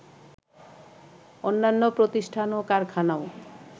অন্যান্য প্রতিষ্ঠান ও কারখানাও